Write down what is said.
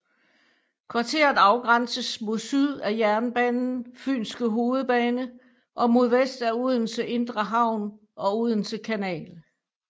Kvarteret afgrænses mod syd af jernbanen Fynske hovedbane og mod vest af Odense Indre Havn og Odense Kanal